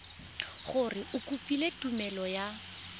gore o kopile tumelelo ya